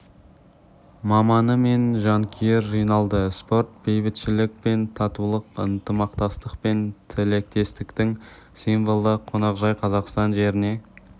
маманы мен жанкүйер жиналды спорт бейбітшілік пен татулықтың ынтымақтастық пен тілектестіктің символы қонақжай қазақстан жеріне